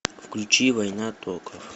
включи война токов